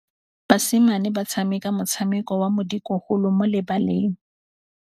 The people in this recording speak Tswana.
Basimane ba tshameka motshameko wa modikologô mo lebaleng.